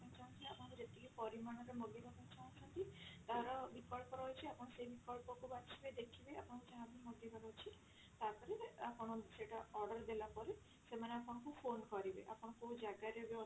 ଚାହୁଁଛନ୍ତି ଆପଣ ଯେତିକି ପରିମାଣ ର ମଗେଇବା ପାଇଁ ଚାହୁଁଛନ୍ତି ତାର ବିକଳ୍ପ ରହୁଛି ଆପଣ ସେଇ ବିକଳ୍ପ କୁ ବାଛିବେ ଦେଖିବେ ଆପଣଙ୍କୁ ଯାହା ବି ମଗେଇବାର ଅଛି ତାପରେ ଆପଣ ସେଇଟା order ଦେଲା ପରେ ସେମାନେ ଆପଣଙ୍କୁ phone କରିବେ ଆପଣ କଉ ଜାଗା ରେ ବି ଅଛନ୍ତି